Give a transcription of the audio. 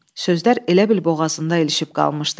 Sözlər elə bil boğazında ilişib qalmışdı.